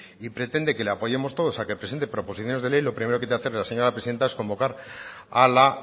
y pretende que le apoyemos todos a que presente proposiciones de ley lo primero que te va a hacer la señora presidenta es convocar a la